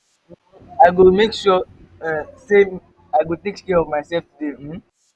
um i go make sure um say i take care of myself today. um